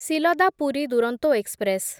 Silda Puri Duronto express